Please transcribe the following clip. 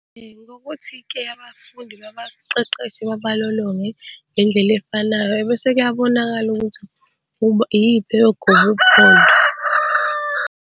Ngokuthi-ke abafundi babaqeqeshe babalolonge ngendlela efanayo bese kuyabonakala ukuthi iyiphi eyogoba uphondo.